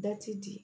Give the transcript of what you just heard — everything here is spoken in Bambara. Da ti di